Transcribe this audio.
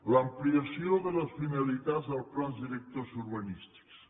l’ampliació de les finalitats dels plans directors urbanístics